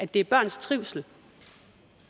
det er børns trivsel